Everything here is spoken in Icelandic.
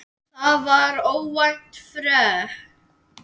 Það var óvænt frétt.